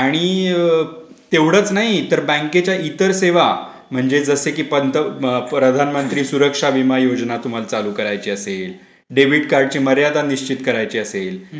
आलं का लक्षात आला आणि तेवढेच नाही तर बँकेच्या इतर सेवा म्हणजे जसं की पंतप्रधानमंत्री सुरक्षा विमा योजना तुम्हाला चालू करायची असेल डेबिट कार्डची मर्यादा निश्चित करायची असेल.